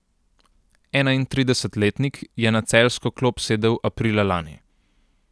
Enaintridesetletnik je na celjsko klop sedel aprila lani.